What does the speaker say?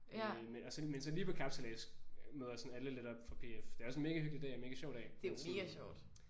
Øh men og så men så lige på kapsejlads møder sådan alle lidt op fra PF. Det er også en mega hyggelig dag og mega sjov dag men sådan